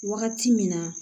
Wagati min na